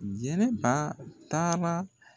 Jɛnɛba taara.